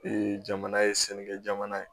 jamana ye sanni kɛ jamana ye